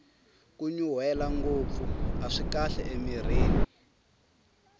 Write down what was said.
kunyunrwela ngopfu aswi kahle emirhini